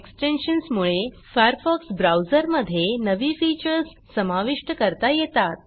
extensions मुळे Firefox ब्राऊजरमधे नवी फीचर्स समाविष्ट करता येतात